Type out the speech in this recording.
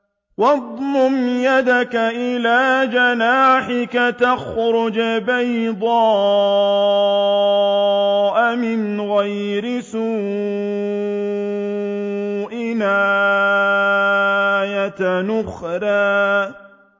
وَاضْمُمْ يَدَكَ إِلَىٰ جَنَاحِكَ تَخْرُجْ بَيْضَاءَ مِنْ غَيْرِ سُوءٍ آيَةً أُخْرَىٰ